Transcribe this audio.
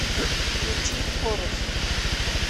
включи хорус